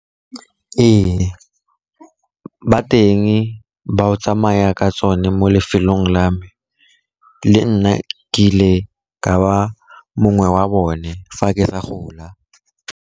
Ee, ba teng ba o tsamaya ka tsone mo lefelong la me, le nna ke ile ka ba mongwe wa bone fa ke sa gola.